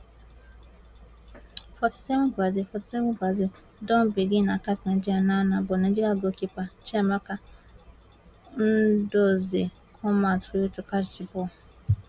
forty seven brazil forty seven brazil don begin acat nigeria now now but nigeria goalkeeper chiamaka nnadozie come out quick to catch di ball